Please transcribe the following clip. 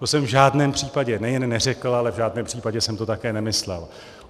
To jsem v žádném případě nejen neřekl, ale v žádném případě jsem to také nemyslel.